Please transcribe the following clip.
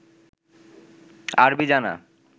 আরবি জানা